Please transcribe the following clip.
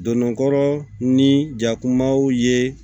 Donnɔgɔ ni jakumaw ye